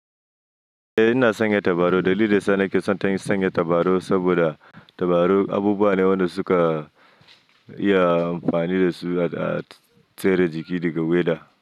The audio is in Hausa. Eh ina sanya tabarau. Dalilin da yasa nake son sanya tabarau saboda tabarau abubuwa ne waɗanda suka iya amfani da su a tsare jiki daga weather.